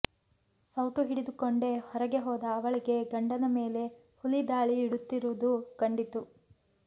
ಸೌಟು ಹಿಡಿದುಕೊಂಡೇ ಹೊರಗೆ ಹೋದ ಅವಳಿಗೆ ಗಂಡನ ಮೇಲೆ ಹುಲಿ ದಾಳಿ ಇಡುತ್ತಿರುವುದು ಕಂಡಿತು